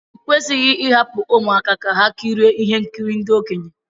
Ekwesịghị ịhapụ ụmụaka ka ha kirie ihe nkiri ndị okenye